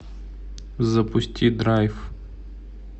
запусти драйв